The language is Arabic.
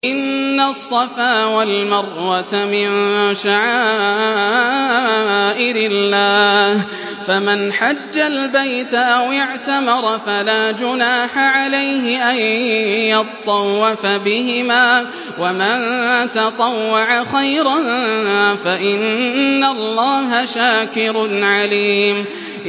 ۞ إِنَّ الصَّفَا وَالْمَرْوَةَ مِن شَعَائِرِ اللَّهِ ۖ فَمَنْ حَجَّ الْبَيْتَ أَوِ اعْتَمَرَ فَلَا جُنَاحَ عَلَيْهِ أَن يَطَّوَّفَ بِهِمَا ۚ وَمَن تَطَوَّعَ خَيْرًا فَإِنَّ اللَّهَ شَاكِرٌ عَلِيمٌ